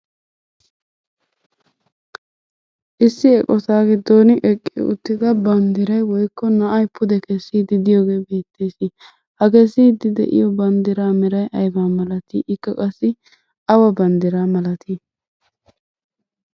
Issi eqqota giddon eqqi uttida banddiray woykko na'ay pude kessidi de'iyogee de'ees.ha Kesiidi de'iyo banddiraa meray aybaa malati ikka qassi awa banddiraa malati ?